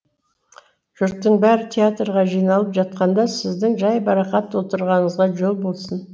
жұрттың бәрі театрға жиналып жатқанда сіздің жайбырақат отырғаныңызға жол болсын